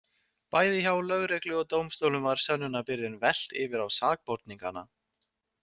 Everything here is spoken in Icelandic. Bæði hjá lögreglu og dómstólum var sönnunarbyrðinni velt yfir á sakborningana.